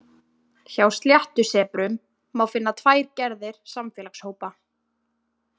Hjá sléttusebrum má finna tvær gerðir samfélagshópa.